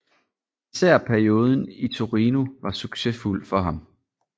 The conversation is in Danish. Især perioden i Torino var succesfuld for ham